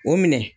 O minɛ